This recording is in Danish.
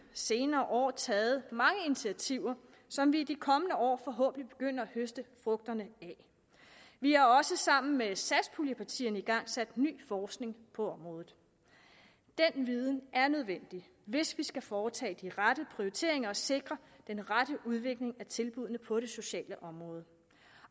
senere år taget mange initiativer som vi i de kommende år forhåbentlig begynder at høste frugterne af vi har også sammen med satspuljepartierne igangsat ny forskning på området den viden er nødvendig hvis vi skal foretage de rette prioriteringer og sikre den rette udvikling af tilbuddene på det sociale område